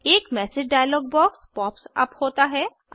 एक message dialogue box pop up होता है